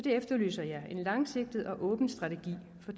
efterlyser en langsigtet og åben strategi for